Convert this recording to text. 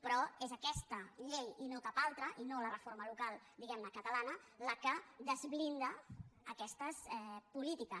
però és aquesta llei i no cap altra i no la reforma local diguem ne catalana la que desblinda aquestes polítiques